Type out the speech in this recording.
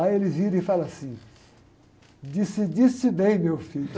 Aí ele vira e fala assim, decidiste bem, meu filho.